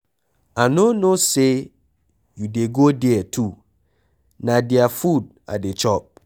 I no know say you dey go there too, na their food I dey chop.